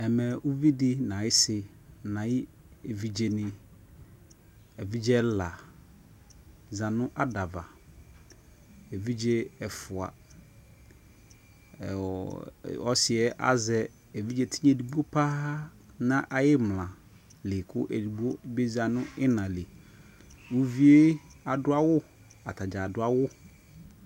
Ɛmɛ uvidi nʋ ayʋsi nʋ ayʋevidze ni Evidze ɛla za nʋ adava, evidze ɛfua ɔɔ ɔsi yɛ azɛ evidze edigbo paa nʋ ayʋimla kʋ edigbo bi za nʋ iina lι Uvi yɛ adʋ awu atadza adu awu